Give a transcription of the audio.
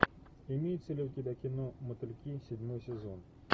имеется ли у тебя кино мотыльки седьмой сезон